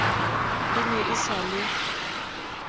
e ne e sa le